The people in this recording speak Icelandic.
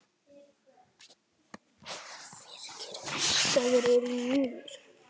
Virk eldstöð er þar undir.